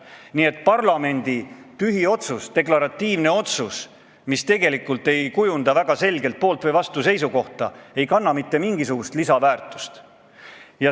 Nii et parlamendi tühiotsus, deklaratiivne otsus, millega ei kujundata väga selget poolt- või vastuseisukohta, ei kanna mitte mingisugust lisaväärtust.